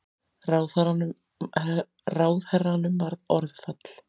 Ráðherranum varð orðfall.